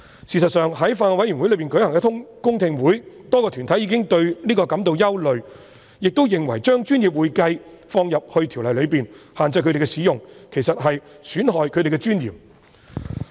事實上，在法案委員會舉行的公聽會上，多個團體已表達對此感到憂慮，亦認為將"專業會計"這稱謂納入《條例》內，並限制他們使用，其實在損害他們的尊嚴。